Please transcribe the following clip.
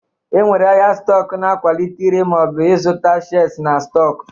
E nwere ahịa stọk na-akwalite ire maọbụ ịzụta shers na stọk